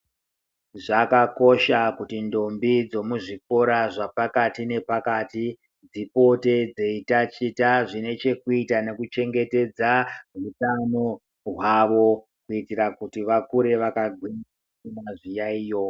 Zvakakosha kuti ndombi dzemuzvikora zvapakati nepakati, dzipote dzeitachita zvine chekuita nekuchengetedza hutano hwavo. Kuitira kuti vakure vakagwinya vasina zviyaiyo.